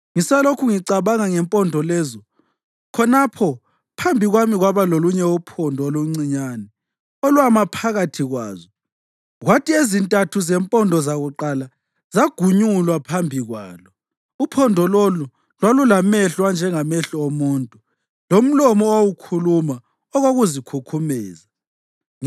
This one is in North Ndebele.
Ngisalokhu ngicabanga ngempondo lezo, khonapho phambi kwami kwaba lolunye uphondo oluncinyane olwama phakathi kwazo; kwathi ezintathu zempondo zakuqala zagunyulwa phambi kwalo. Uphondo lolu lwalulamehlo anjengamehlo omuntu lomlomo owawukhuluma okokuzikhukhumeza.